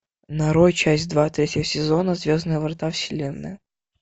нарой часть два третьего сезона звездные врата вселенная